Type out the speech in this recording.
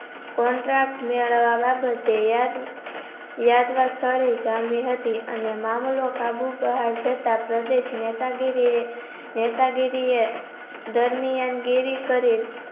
Contract મેળવવા બાબતે યાદ યાદરાખતા જામી હતી અને મામૂલો કાબુ પ્રહાર સતા પ્રદેશ નેતા ગિરિયે નેતા ગીરીએ દરમ્યાન ગિરી કરે